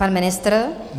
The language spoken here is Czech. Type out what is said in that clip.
Pan ministr?